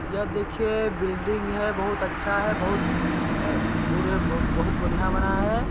यह देखिए बिल्डिंग हैं बहुत अच्छा हैं बहुत अ बुरे बू बहुत बढ़िया बनाया हैं।